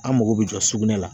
An mago bɛ jɔ sugunɛ la